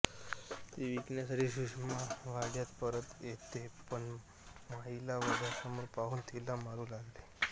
ती विकण्यासाठी सुषमा वाड्यात परत येते पण माईला वडासमोर पाहून तिला मारू लागते